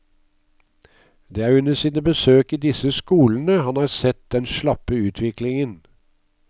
Det er under sine besøk i disse skolene han har sett den slappe utviklingen.